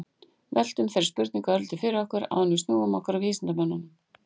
veltum þeirri spurningu örlítið fyrir okkur áður en við snúum okkur að vísindamönnunum